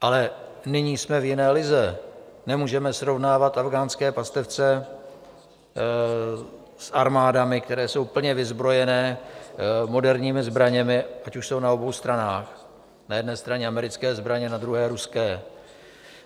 Ale nyní jsme v jiné lize, nemůžeme srovnávat afghánské pastevce s armádami, které jsou plně vyzbrojené moderními zbraněmi, ať už jsou na obou stranách, na jedné straně americké zbraně, na druhé ruské.